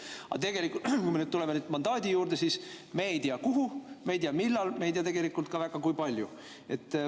Aga tegelikult, kui me nüüd tuleme mandaadi juurde, siis me ei tea, kuhu, me ei tea, millal, me ei tea tegelikult väga ka, kui palju.